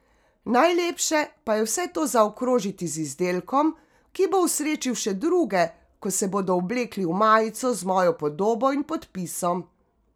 Najlepše pa je vse to zaokrožiti z izdelkom, ki bo osrečil še druge, ko se bodo oblekli v majico z mojo podobo in podpisom.